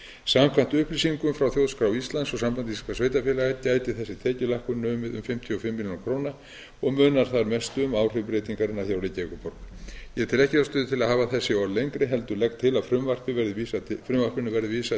samkvæmt upplýsingum frá þjóðskrá íslands og sambandi íslenskra sveitarfélaga gæti þessi tekjulækkun numið um fimmtíu og fimm milljónir króna og munar þar mestu um áhrif breytingarinnar hjá reykjavíkurborg ég tel ekki ástæðu til að hafa þessi orð lengri heldur legg til að frumvarpinu verði vísað